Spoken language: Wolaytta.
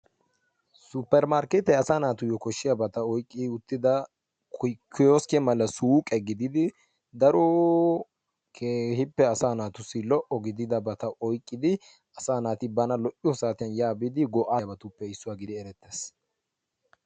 Suppermarkkeetee asaa naatuyyo koshshiyabata oyqqi uttida koskke mala suuqe gididi daro keehippe asaa naatussi lo''o gididabata oyqqidi asaa naati bana lo''iyo saatiyan yaa biidi go'ettiyobatuppe issuwa gididi erettees.